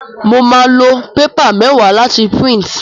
Mo máa lo paper méwáà láti print